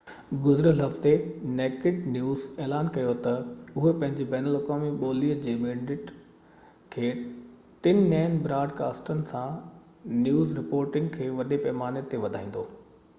گذريل هفتي نيڪڊ نيوز اعلان ڪيو تہ اهو پنهنجي بين الاقوامي ٻولي جي مينڊيٽ کي ٽن نئين براد ڪاسٽن سان نيوز رپورٽنگ کي وڏي پئماني تي وڌائيندو